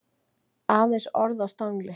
Aðeins orð á stangli.